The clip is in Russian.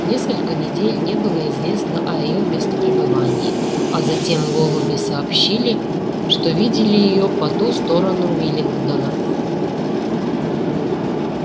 несколько недель не было известно о её местопребывании а затем голуби сообщили что видели её по ту сторону уиллингдона